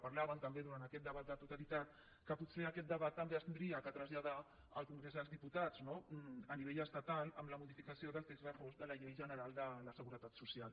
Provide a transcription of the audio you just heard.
parlàvem també durant aquest debat a la totalitat que potser aquest debat també s’hauria de traslladar al congrés dels diputats no a nivell estatal amb la modificació del text refós de la llei general de la seguretat social